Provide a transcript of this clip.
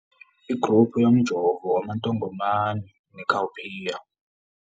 Ingruphu yomjovo waMantongomane neCowpea.